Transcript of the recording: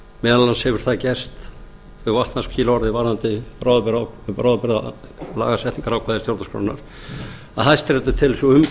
meðal annars hefur það gerst þau vatnaskil orðið varðandi bráðabirgðalagasetningarákvæði stjórnarskrárinnar að hæstiréttur telur sig